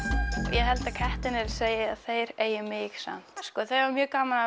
ég held að kettirnir segi að þeir eigi mig samt sko það var mjög gaman